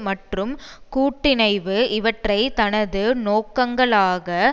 மற்றும் கூட்டிணைவு இவற்றை தனது நோக்கங்களாக